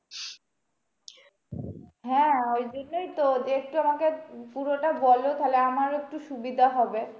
হ্যাঁ ওই জন্যই তো যে একটু আমাকে পুরোটা বলো তাহলে আমার একটু সুবিধা হবে।